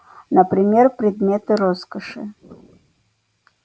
например предметы роскоши